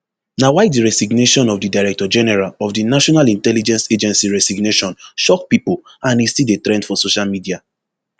na why di resignation of di director general of di national intelligence agency resignation shock pipo and e still dey trend for social media